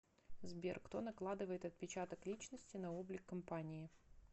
сбер кто накладывает отпечаток личности на облик компании